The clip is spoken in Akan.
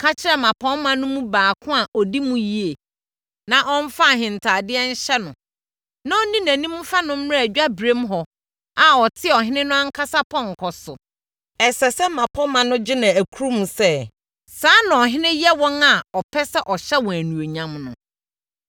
Ka kyerɛ mmapɔmma no mu baako a ɔdi mu yie, na ɔmfa ahentadeɛ nhyɛ no, na ɔnni nʼanim mfa no mmra adwaberem hɔ a ɔte ɔhene no ankasa pɔnkɔ so. Ɛsɛ sɛ mmapɔmma no gye no akurum sɛ, ‘Saa na ɔhene yɛ wɔn a ɔpɛ sɛ ɔhyɛ wɔn animuonyam no!’ ”